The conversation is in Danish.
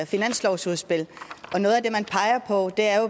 finanslovsudspil noget af